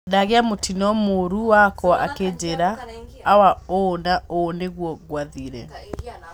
Ndagĩa mũtino mũriũ wakwa akĩnjĩra: Awa, ũũ na ũũ nĩguo gwathire